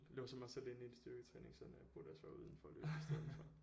Låser mig selv inde i et styrketræningscenter jeg burde også være udenfor og løbe i stedet for